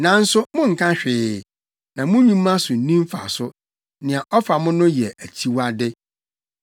Nanso, monnka hwee, na mo nnwuma so nni mfaso; nea ɔfa mo no yɛ akyiwade.